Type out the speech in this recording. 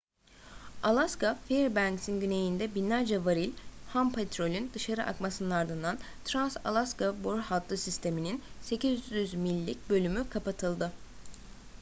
alaska fairbanks'in güneyinde binlerce varil ham petrolün dışarı akmasının ardından trans-alaska boru hattı sistemi'nin 800 millik bölümü kapatıldı